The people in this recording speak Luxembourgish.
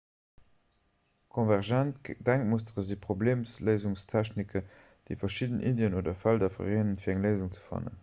konvergent denkmustere si problemléisungstechniken déi verschidden iddien oder felder vereenen fir eng léisung ze fannen